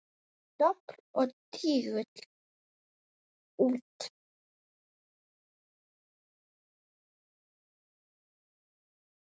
Dobl og tígull út.